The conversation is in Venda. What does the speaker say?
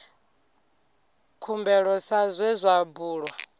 khumbelo sa zwe zwa bulwa